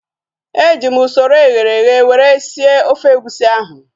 Eji m usoro eghere eghe were sie ofe egusi ahu